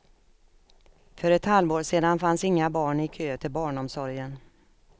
För ett halvår sedan fanns inga barn i kö till barnsomsorgen.